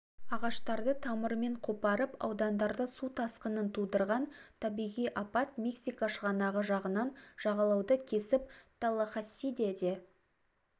ағаштарды тамырымен қопарып аудандарда су тасқынын тудырған табиғи апат мексика шығанағы жағынан жағалауды кесіп таллахассиде де